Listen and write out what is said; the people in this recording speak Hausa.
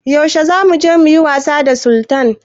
Yaushe zamu je muyi wasa da Sultan?